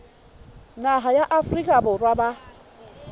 naha ya afrika borwa ba